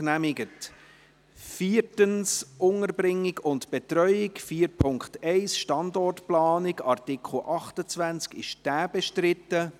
Allerdings werden wir dies am Dienstagnachmittag behandeln.